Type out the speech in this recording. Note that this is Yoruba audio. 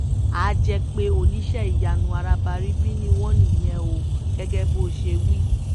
àá jẹ́ pé oníṣẹ́-ìyanu arabaríbí ni wọ́n níyẹn o gẹ́gẹ́ bó ṣe wí